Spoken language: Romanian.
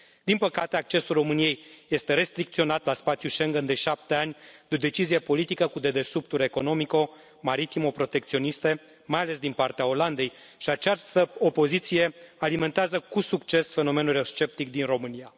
Din păcate, accesul României este restricționat la spațiul Schengen de 7 ani de o decizie politică cu dedesubturi economico maritimo protecționiste, mai ales din partea Olandei, și această opoziție alimentează cu succes fenomenul sceptic din România.